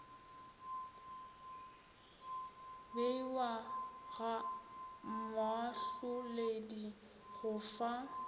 beiwa ga moahloledi go fa